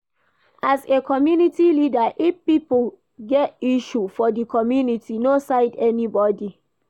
As community leader, if pipo get issue for di community, no side anybody